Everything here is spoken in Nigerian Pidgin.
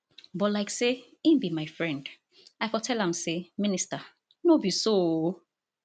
but like say im be my friend i for tell am say minister no be so ooo